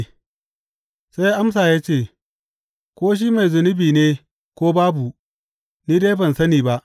Sai ya amsa ya ce, Ko shi mai zunubi ne ko babu, ni dai ban sani ba.